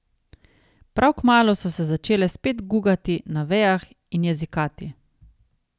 Prav kmalu so se začele spet gugati na vejah in jezikati.